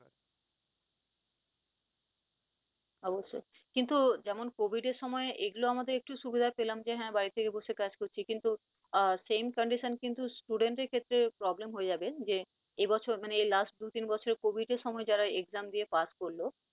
অবশ্যই, কিন্তু যেমন covid এর সময় এগুলো আমাদের একটু সুবিধা পেলাম যে হ্যাঁ বাড়ি থেকে বসে কাজ করছি কিন্তু আহ same condition কিন্তু student দের ক্ষেত্রে problem হয়ে যাবে যে, এ বছর মানে এই last দু তিন বছর covid এর সময় যারা exam দিয়ে pass করল।